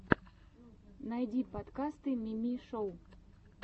найди подкасты мими шоу